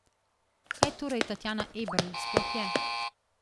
Kaj torej Tatjana Eberl sploh je?